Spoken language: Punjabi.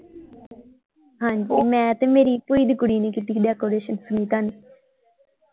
ਹਾਂਜੀ ਮੈਂ ਤੇ ਮੇਰੀ ਭੂਈ ਦੀ ਕੁੜੀ ਨੇ ਕੀਤੀ ਸੀ decoration ਸੁਨੀਤਾ ਨੇ।